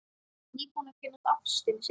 Nýbúinn að kynnast ástinni sinni.